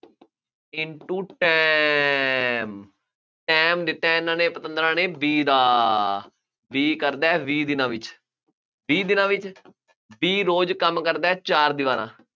into time time ਦਿੱਤਾ ਇਹਨਾ ਨੇ ਪਤੰਦਰਾਂ ਨੇ B ਦਾ, B ਕਰਦਾ ਹੈ ਵੀਹ ਦਿਨਾਂ ਵਿੱਚ, ਵੀਹ ਦਿਨਾਂ ਵਿੱਚ, B ਰੋਜ਼ ਕੰਮ ਕਰਦਾ ਹੈ, ਚਾਰ ਦੀਵਾਰਾਂ